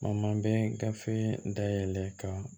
O man bɛn gafe dayɛlɛ ka